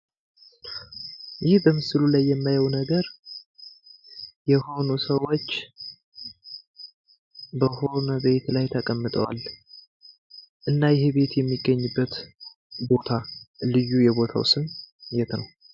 ይህ በምስሉ ላይ የማየው ነገር የሆኑ ሰዎች በሆነ ቤት ላይ ተቀምጠዋል። እና ይሄ ቤት የሚገኝበት ቦታ ልዩ የቦታው ስም የት ነው?